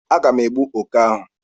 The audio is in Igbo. Aga m egbu oké ahụ.